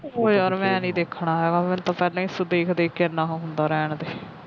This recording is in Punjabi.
ਉਹ ਯਾਰ ਮੈ ਨਹੀ ਦੇਖਣਾ ਮੈਨੂੰ ਤਾਂ ਪਹਿਲਾ ਹੀ ਦੇਖ ਦੇਖ ਕੇ ਇੰਨਾ ਉਹ ਹੁੰਦਾ